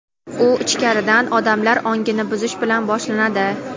u ichkaridan odamlar ongini buzish bilan boshlanadi.